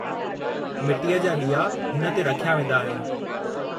मिटीअ जा ॾीआ हुन ते रखिया वेंदा आहिनि।